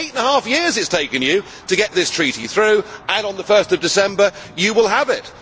Eight and a half years it has taken you to get this treaty through, and on 1 December you will have it.